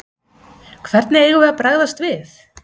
Hvernig við eigum að bregðast við?